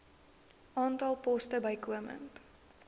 aantal poste bykomend